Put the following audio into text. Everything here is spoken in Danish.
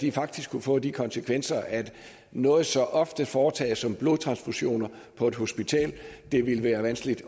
er faktisk kunne få de konsekvenser at noget så ofte foretaget som blodtransfusioner på et hospital ville være vanskeligt